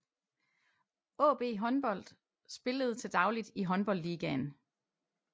AaB Håndbold spillede til dagligt i Håndboldligaen